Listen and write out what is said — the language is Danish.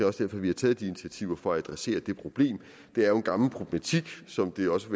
også derfor vi har taget de initiativer det for at adressere det problem det er jo en gammel problematik som det også